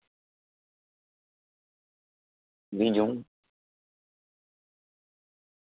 બીજું